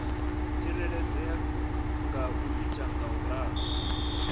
tsireledzea nga u ita ngauralo